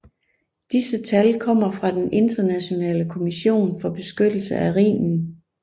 Disse tal kommer fra den Internationale Kommission for beskyttelse af Rhinen